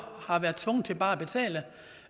er tvunget til bare